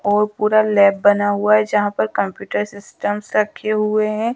और पूरा लैब बना हुआ है जहाँ पर कंप्यूटर सिस्टम्स रखे हुए हैं।